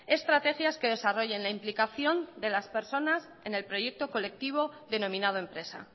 estrategias que desarrollen la implicación de las personas en el proyecto colectivo denominado empresa